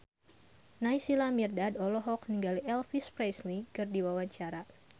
Naysila Mirdad olohok ningali Elvis Presley keur diwawancara